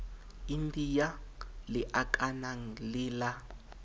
india le akanang le la